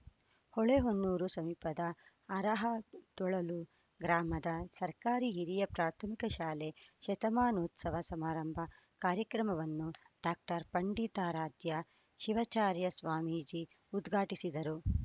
ಹೊಳೆ ಹೊನ್ನೂರು ಸಮೀಪದ ಅರಹತೊಳಲು ಗ್ರಾಮದ ಸರ್ಕಾರಿ ಹಿರಿಯ ಪ್ರಾಥಮಿಕ ಶಾಲೆ ಶತಮಾನೋತ್ಸವ ಸಮಾರಂಭ ಕಾರ್ಯಕ್ರಮವನ್ನು ಡಾಕ್ಟರ್ ಪಂಡಿತಾರಾಧ್ಯ ಶಿವಚಾರ್ಯ ಸ್ವಾಮೀಜಿ ಉದ್ಘಾಟಿಸಿದರು